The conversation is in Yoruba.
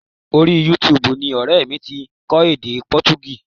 Orí Yútuubù ni ọrẹ mi ti kọ́ èdè Potogí